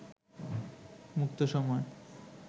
মুক্ত সময়